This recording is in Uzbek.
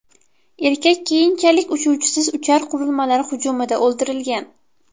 Erkak keyinchalik uchuvchisiz uchar qurilmalar hujumida o‘ldirilgan.